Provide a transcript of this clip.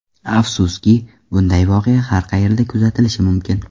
Afsuski, bunday voqea har qayerda kuzatilishi mumkin.